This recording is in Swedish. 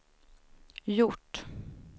gjort